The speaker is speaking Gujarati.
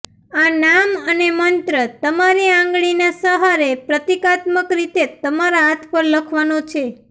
આ નામ અને મંત્ર તમારી આંગળીના સહારે પ્રતીકાત્મક રીતે તમારા હાથ પર લખવાનો છે